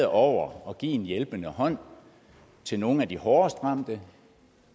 over at give en hjælpende hånd til nogle af de hårdest ramte